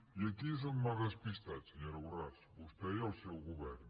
i aquí és on m’ha despistat senyora borràs vostè i el seu govern